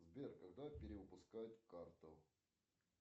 сбер когда перевыпускают карту